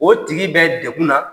O tigi bɛ degun na.